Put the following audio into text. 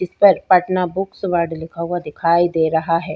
इस पर Patna books ward लिखा हुआ दिखाई दे रहा है।